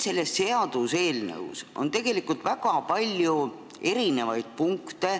Selles seaduseelnõus on tegelikult väga palju erinevaid punkte,